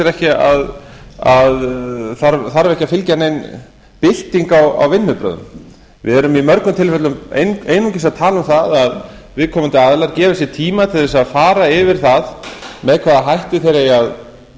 ekki að fylgja nein bylting á vinnubrögðum við erum í mörgum tilfellum einungis að tala um það að viðkomandi aðilar gefi sér tíma til að fara yfir það með hvaða hætti þeir eiga